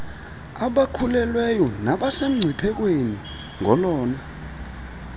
abakhulelweyo nabasemngciphekweni ngolona